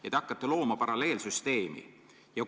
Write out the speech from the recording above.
Te ju hakkate looma paralleelsüsteemi!